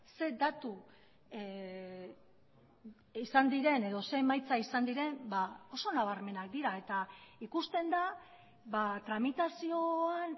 ze datu izan diren edo ze emaitza izan diren ba oso nabarmenak dira eta ikusten da tramitazioan